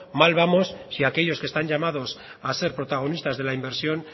mal vamos si aquellos que están llamados a ser protagonistas de la inversión